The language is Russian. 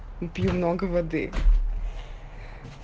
пью много воды